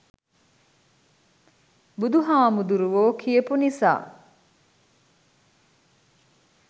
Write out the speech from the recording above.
බුදු හාමුදුරුවො කියපු නිසා